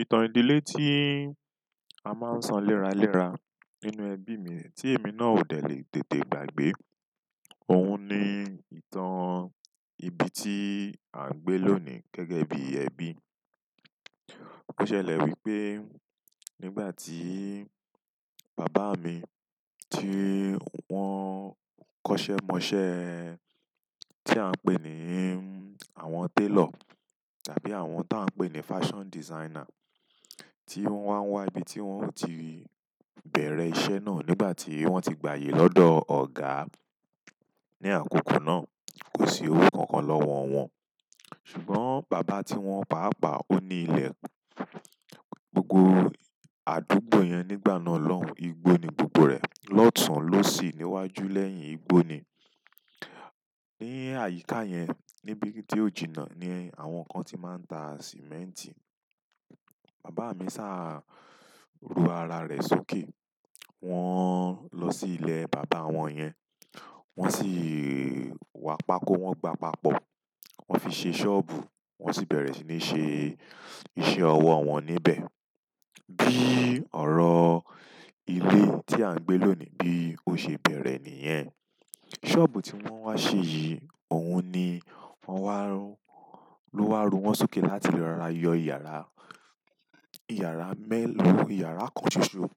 Ìtàn ìdílé tí a máa ń ṣọ léraléra nínú ẹbí mi tí èmi náà ó dẹ̀ lé tètè gbàgbé. Ohun ni ìtàn ibi tí à ń gbé lónìí gẹ́gẹ́ bí ẹbi. Ó ṣẹlẹ̀ wípé nígbà tí bàbá mi tí wọ́n kọ́ṣẹ́ mọṣẹ́ tí à ń pè ní àwọn tailor tàbí àwọn tí à ń pè ní fashion designer tí wọ́n wá ń wá ibi tí wọ́n ti bẹ̀rẹ̀ iṣẹ́ náà nígbà tí wọ́n ti gbayè lọ́dọ̀ ọ̀gà ní àkókò náà. Kò sí owó kankan lọ́wọ́ wọn ṣùgbọ́n bàbá tí wọ́n pàápàá ó ní ilẹ̀. Gbogbo àdúgbò yẹn nígbà náà lọ́hùn igbó ni gbogbo rẹ̀. Lọ́tùn ló sì níwájú lẹ́yìn igbó ni. Ní àyíká yẹn níbi tí ó jìnnà ni àwọn kan ti máa ń ta sìmẹ́ǹtì. Baba mi sa ru ara re sókè. Wọ́n lọ sí ilé bàbá wọn yẹn, wọ́n sì wá pákó, wọ́n gba pápọ̀, wọ́n fi ṣe ṣọ́ọ̀bù, wọ́n sì bẹ̀rẹ̀ sí ní ṣe iṣẹ́ ọwọ́ wọn níbẹ̀. Bí ọ̀rọ̀ ilé tí à ń gbé lónìí bí ó ṣe bẹ̀rẹ̀ nìyẹn. Ṣọ́ọ̀bù tí wọ́n wá ṣe yìí, òun ni wọ́n wá rú, ló wá rú. Won sókè láti rora yo yara, yara pe yara kan soso,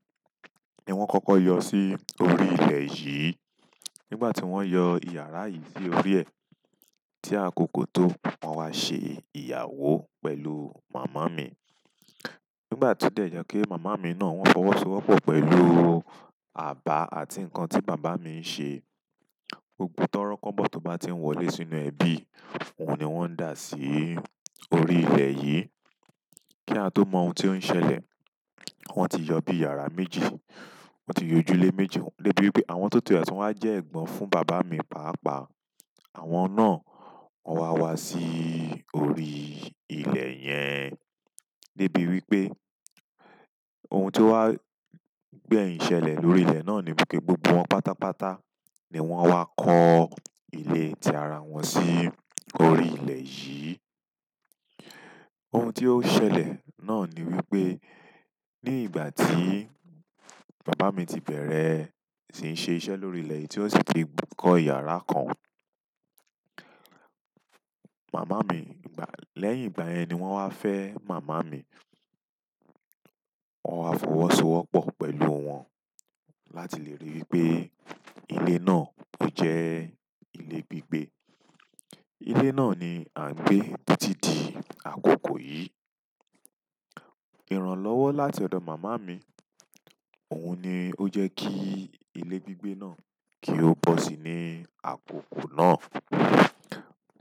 ni won koko yo si orí ile yìí, nigbati won yo yara yi lórí e, ti akoko to, won wa se ìyàwó pẹ̀lú mama mi nígbà tó dẹ̀ jẹ́ kí màmá mi náà wọ́n fọwọ́sowọ́pọ̀ pẹ̀lú àbá àti nǹkan tí bàbá mi ń sẹ. Gbogbo tọ́rọ́ kobọ̀ tó bá ti ń wọlé sínú ẹbi, òun ni wọ́n ń dà sí orí ilẹ̀ yìí. Kí a tó mọ ohun tí ó ń ṣẹlẹ̀, wọ́n ti yọ bí i yàrá méjì, wọ́n ti yọ ojúlé méjì. Débi wípé àwọn tó ti tun wá jẹ́ ẹ̀gbọ́n fún bàbá mi pàápàá. Àwọn náà wọ́n wá wá sí orí ilẹ̀ yẹn. Débi wípé ohun tó wá gbẹ̀yìn ṣẹlẹ̀ lórí ilẹ̀ náà ni wípé gbogbo wọn pátápátá ni wọ́n wá kọ́ ilé tí ara wọn sí orí ilẹ̀ yìí. Ohun tí ó ṣẹlẹ̀ náà ni wípé nígbà tí bàbá mi ti bẹ̀rẹ̀ sí ń ṣe iṣẹ́ lórí ilẹ̀ yí tí ó sì ti kọ́ yàrá kan, màmá mi, lẹ́yìn ìgbayẹn ni wọ́n wá fẹ́ màmá mi. Wọ́n wá fọwọ́sowọ́pọ̀ pẹ̀lú wọn láti lè ríi wípé ilé náà kò jẹ́ ilé gbígbé. Ilé náà ni à ń gbé títí di àkókò yìí. Ìrànlọ́wọ́ láti ọ̀dọ̀ màmá mi òun ni ó jẹ́ kí ilé gbígbé náà kí ó bọ́ sí ní àkókò náà.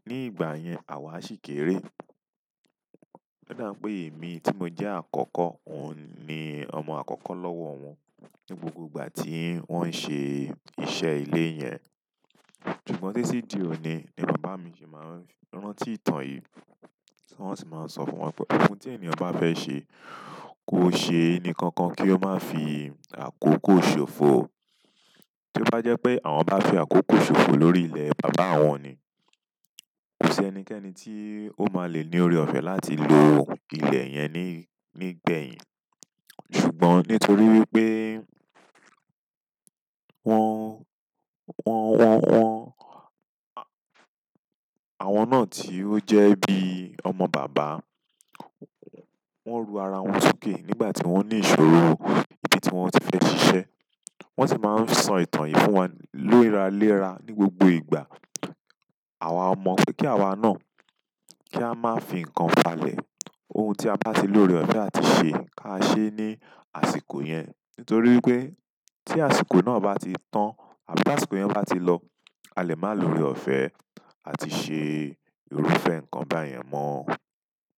Ní ìgbà yẹn àwa ṣì kéré. Odá pé èmi tí mo jẹ́ àkọ́kọ́, òun ni ọmọ àkọ́kọ́ lọ́wọ́ wọn ní gbogbo ìgbà tí wọ́n ń ṣe iṣẹ́ ilé yẹn. Ṣùgbọ́n títí di òní ni bàbá mi ṣe máa ń rántí ìtàn yìí. Wọ́n sì máa ń sọ fún wọn pé ohun tí ènìyàn bá fẹ́ ṣe, kó ṣe nìkan kan kí ó má fi àkókò ṣòfò. To bá jẹ́ pé àwọn bá fi àkókò ṣòfò lórí ilẹ̀ bàbá wọn ni, kò sí ẹnikẹ́ni tí ó máa le ní ọrẹ ọ̀fẹ́ láti lo ílẹ̀ yẹn nígbẹ̀yìn. Ṣùgbọ́n nítorí wípé wọ́n, wọ́n, wọ́n won àwọn náà tí ó jẹ́ bí i ọmọ bàbá, wọ́n ru ara wọn sókè nígbà tí wọ́n ní ìṣòro ibi tí wọ́n ti fẹ́ ṣiṣẹ́, wọ́n sì máa ń sọ ìtàn yìí fún wa léraléra ní gbogbo ìgbà. Àwa ọmọ pé kí àwa náà kí a má fi nǹkan falẹ̀. Ohun tí a bá ti lórí ọ̀fẹ́ à ti ṣe, ká ṣe ní àsìkò yẹn. Nítorí wípé tí àsìkò náà bá ti tán àbí tí àsìkò yẹn bá ti lọ, a lè má lórí ọ̀fẹ́ à ti ṣe irúfẹ́ ǹkan báyẹn mọ́.